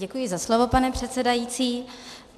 Děkuji za slovo, pane předsedající.